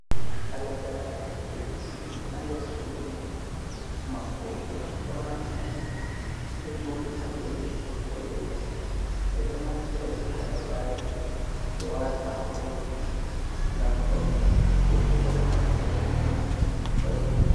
Halagaare ɗo ɗisi haa nder suudu mum. Maɓɓode mai ɗo maɓɓiti, ɗo jooɗi haa dow leppol boɗewol. Ɓe ɗo naftira be halagaare mai ɓe waata haa hondu ngam fauniki, woɓɓe bo ɗo naftira be maajum, waɗuki lekki.